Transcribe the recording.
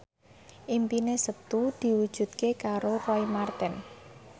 impine Setu diwujudke karo Roy Marten